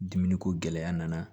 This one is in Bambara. Dumuni ko gɛlɛya nana